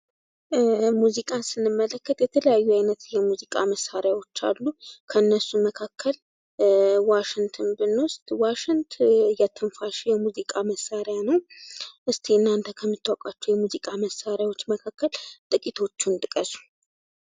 ሙዚቃን ስንመለከት የተለያዩ ዓይነት የሙዚቃ መሣሪያዎች አሉ። ከእነሱም መካከል ዋሽንትን ብንወስድ ዋሽንት የትንፋሽ የሙዚቃ መሣሪያ ነው ። እስኪ የእናንተ ከምታውቃቸው የሙዚቃ መሳሪያዎች መካከል ጥቂቶቹን ጥቀሱ።